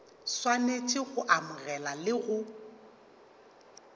swanetše go amogela le go